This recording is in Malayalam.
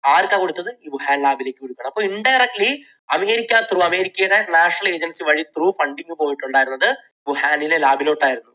ആർക്കാ കൊടുത്തത്? ഈ വുഹാൻ lab ലേക്ക്. അപ്പോൾ indirectly അമേരിക്ക through അമേരിക്കയുടെ national agency വഴി through funding പോയിട്ടുണ്ടായിരുന്നത് വുഹാനിലെ lab ലോട്ട് ആയിരുന്നു.